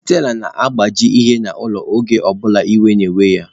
Stella na-agbaji ihe n'ụlọ, oge ọ bụla iwe were ya